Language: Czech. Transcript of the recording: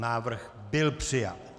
Návrh byl přijat.